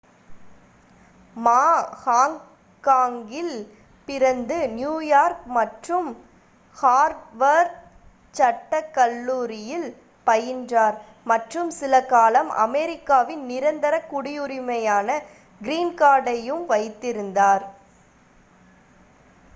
"மா ஹாங்காங்கில் பிறந்து நியூயார்க் மற்றும் ஹார்வர்ட் சட்டக் கல்லூரியில் பயின்றார் மற்றும் சிலகாலம் அமெரிக்காவின் நிரந்தரக் குடியுரிமையான "கிரீன் கார்ட்" ஐயும் வைத்திருந்தார்.